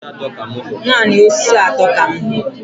Naanị osisi atọ ka m hụrụ.